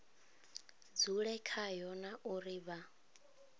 dzule khayo na uri vha